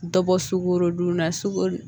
Dɔ bɔ sukoro dun na sukoro